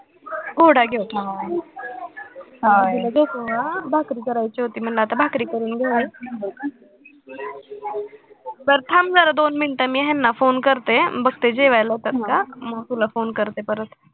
दिदीला झोपवू हा भाकरी करायची होती म्हणलं भाकरी करून घेईन, बरं थांब जरा दोन minute मी ह्यांना phone करते, बघते जेवायला येतात का मग तुला phone करते परत